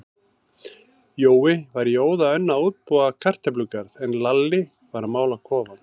Jói var í óða önn að útbúa kartöflugarð, en Lalli var að mála kofann.